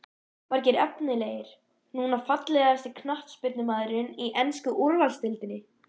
Margir efnilegir núna Fallegasti knattspyrnumaðurinn í ensku úrvalsdeildinni?